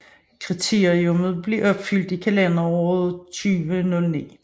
Dette kriterium blev opfyldt i kalenderåret 2009